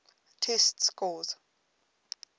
test scores